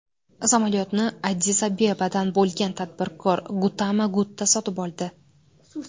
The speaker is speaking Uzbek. Samolyotni Addis-Abebadan bo‘lgan tadbirkor Guttama Gutta sotib oldi.